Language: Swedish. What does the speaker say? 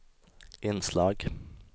inslag